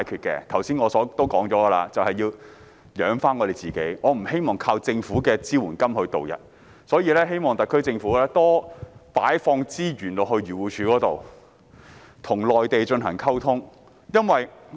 我剛才也提到要自己養活自己，不希望依靠政府的支援金渡日，所以我希望特區政府多投放資源到漁農自然護理署，並與內地溝通。